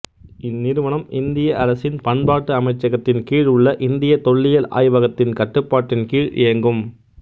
இந்நிறுவனம் இந்திய அரசின் பண்பாட்டு அமைச்சகத்தின் கீழ் உள்ள இந்தியத் தொல்லியல் ஆய்வகத்தின் கட்டுப்பாட்டின் கீழ் இயங்கும்